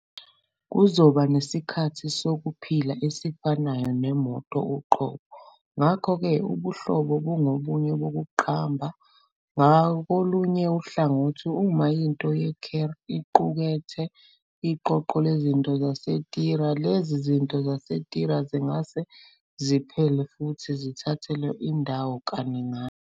Kuzoba nesikhathi sokuphila esifanayo nemoto uqobo, ngakho-ke ubuhlobo bungobunye bokuqamba. Ngakolunye uhlangothi, uma into yeCarl iqukethe iqoqo lezinto zaseTire, lezi zinto zaseTire zingase ziphele futhi zithathelwe indawo kaningana.